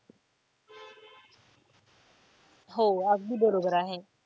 हो अगदी बरोबर आहे.